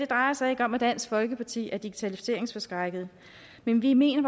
drejer sig om at dansk folkeparti er digitaliseringsforskrækket men vi mener